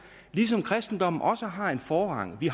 ligesom kristendommen også har en forrang vi